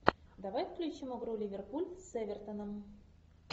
давай включим игру ливерпуль с эвертоном